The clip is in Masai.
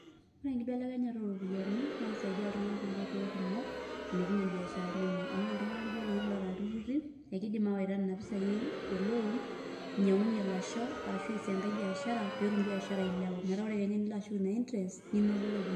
Ore enkibelekenyata oropiyiani, na kisaidia iltung'anak tonkoitoii kumok, ilepunye ibiasharani enye. Amu ore iltung'anak lijo loshi oota ilturrurri, ekidim awaita nena pisai e loan ,inyang'unye lasho, arashu eesie enkae biashara, petum biashara ailepu. Metaa ore kenya enilo ashuk ina interest ,ninoto ropiyiani.